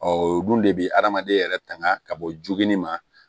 o dun de bɛ adamaden yɛrɛ tanga ka bɔ joginni ma